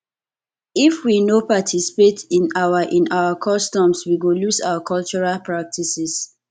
if we no participate in our in our customs we go lose our cultural practices